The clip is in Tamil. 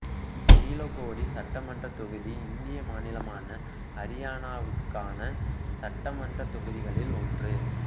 நீலோகேடி சட்டமன்றத் தொகுதி இந்திய மாநிலமான அரியானாவுக்கான சட்டமன்றத் தொகுதிகளில் ஒன்று